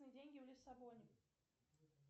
деньги в лиссабоне